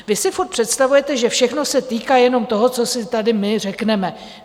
Vy si furt představujete, že všechno se týká jenom toho, co si tady my řekneme.